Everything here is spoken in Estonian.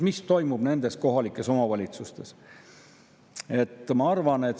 Mis toimub nendes kohalikes omavalitsustes?